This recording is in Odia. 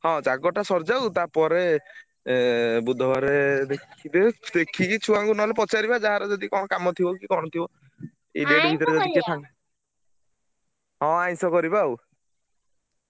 ହଁ ଜାଗରଟା ସରିଯାଉ ତା ପରେ ଏ ବୁଧବାରେ ~ଦେ ଦେଖିକି ଛୁଆଙ୍କୁ ନହେଲେ ପଚାରିବା ଯାହାର ଯଦି କଣ କାମ ଥିବ କି କଣ ଥିବ। ହଁ ଆଇଂଷ କରିବା ଆଉ।